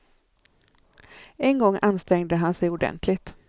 En gång ansträngde han sig ordenligt.